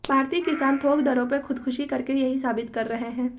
भारतीय किसान थोक दरों पर खुदकशी करके यही साबित कर रहे हैं